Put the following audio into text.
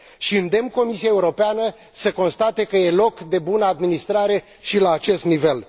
și îndemn Comisia Europeană să constate că e loc de bună administrare și la acest nivel.